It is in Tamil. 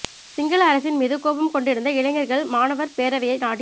சிங்கள அரசின் மீது கோபம் கொண்டிருந்த இளைஞர்கள் மாணவர் பேரவையை நாடிச்